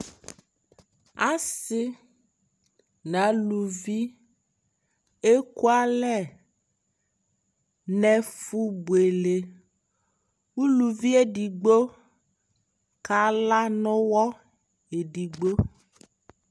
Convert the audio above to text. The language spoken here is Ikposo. Asi na aluvi ɛkualɛ ne fu buele Uluvi yɛ digbo ka la nu wɔ ɛdigbo